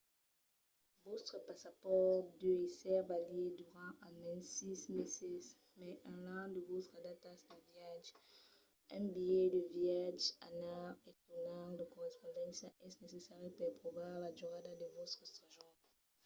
vòstre passapòrt deu èsser valid durant almens 6 meses mai enlà de vòstras datas de viatge. un bilhet de viatge anar e tornar/de correspondéncia es necessari per provar la durada de vòstre sojorn